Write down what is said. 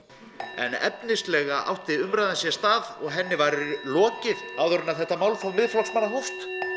efnislega átti umræðan sér stað og henni var lokið áður en að þetta málþóf Miðflokksmanna hófst